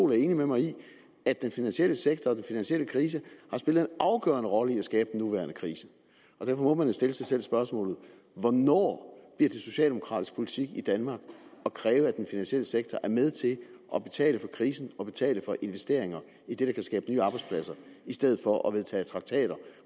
er enig med mig i at den finansielle sektor og den finansielle krise har spillet en afgørende rolle i at skabe den nuværende krise og derfor må man jo stille sig selv spørgsmålet hvornår bliver det socialdemokratisk politik i danmark at kræve at den finansielle sektor er med til at betale for krisen og betale for investeringer i det der kan skabe nye arbejdspladser i stedet for at man vedtager traktater